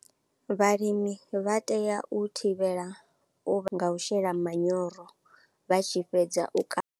Vhalimi vha tea u thivhela u nga u shela manyoro vha tshi fhedza u.